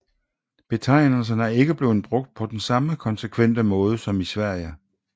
Betegnelserne er ikke blevet brugt på den samme konsekvente måde som i Sverige